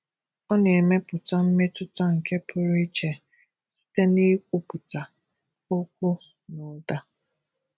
Ọ nà-èmépùtá mmétụta nke pụrụ íche site n’ịkpụpụta okwu nà ụda.